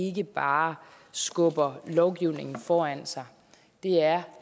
ikke bare skubber lovgivningen foran sig det er